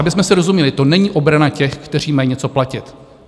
Abychom si rozuměli, to není obrana těch, kteří mají něco platit.